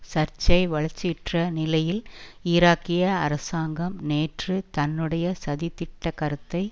சர்ச்சை வளர்ச்சியுற்ற நிலையில் ஈராக்கிய அரசாங்கம் நேற்று தன்னுடைய சதித்திட்ட கருத்தை